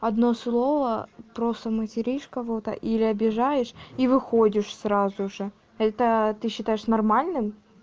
одно слово просто материшь кого-то или обижаешь и выходишь сразу же это ты считаешь нормальным